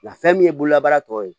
Nka fɛn min ye bololabaara tɔ ye